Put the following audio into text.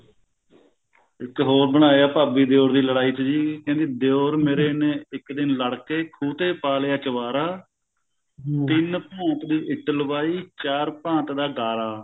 ਇੱਕ ਹੋਰ ਬਣਾਇਆ ਭਾਬੀ ਦਿਓਰ ਦੀ ਲੜਾਈ ਤੇ ਜੀ ਕਹਿੰਦੀ ਦਿਓਰ ਮੇਰੇ ਨੇ ਇੱਕ ਦਿਨ ਲੜ ਕੇ ਖੂਹ ਤੇ ਪਾ ਲਿਆ ਚੁਬਾਰਾ ਤਿੰਨ ਭੁੱਤ ਦੀ ਇੱਟ ਲਵਾਈ ਚਾਰ ਭਾਂਤ ਦਾ ਗਾਲਾਂ